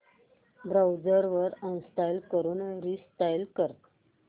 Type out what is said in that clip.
browser uninstall करून reinstall कर